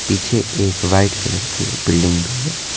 पीछे एक white colour की बिल्डिंग भी है।